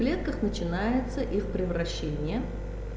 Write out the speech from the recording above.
в клетках начинается их превращение